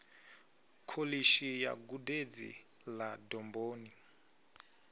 kholishi ya gudedzi ḽa domboni